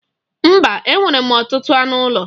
Mba, e nwere m ọtụtụ anụ ụlọ.